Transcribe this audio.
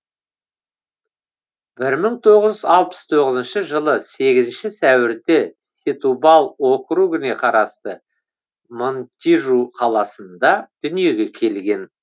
бір мың тоғыз алпыс тоғызыншы жылы сегізінші сәуірде сетубал округіне қарасты монтижу қаласында дүниеге келген